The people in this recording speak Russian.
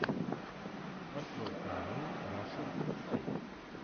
открой каналы раша инсайт